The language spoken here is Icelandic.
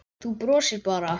Þú brosir bara!